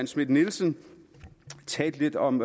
schmidt nielsen talte lidt om